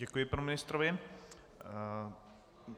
Děkuji panu ministrovi.